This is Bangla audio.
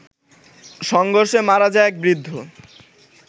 সংঘর্ষে মারা যায় এক বৃদ্ধ